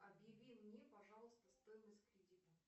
объяви мне пожалуйста стоимость кредита